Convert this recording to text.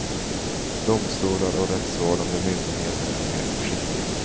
Domstolar och rättsvårdande myndigheter är mer försiktiga.